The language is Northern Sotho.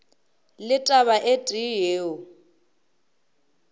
le taba e tee yeo